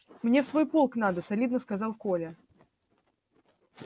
мне в свой полк надо солидно сказал коля